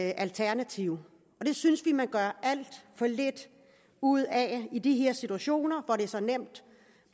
et alternativ og det synes vi man gør alt for lidt ud af i de her situationer hvor det er så nemt